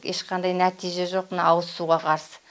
ешқандай нәтиже жоқ мына ауызсуға қарсы